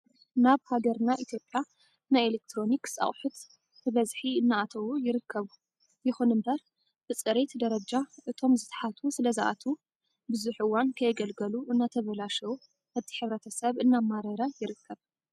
ናብ ሃገርና ኢትዮጵያ ናይ ኤሌክትሮኒክስ ኣቅሑት ብበዝሒ እናኣተዉ ይርከቡ። ይኹን እምበር ብፅሬት ደረጃ እቶም ዝተሓቱ ስለዝኣትዉ ብዙሕ እዋን ከየገልገሉ እናተበላሸዉ እቲ ሕብረተሰብ እናማረረ ይርከብ።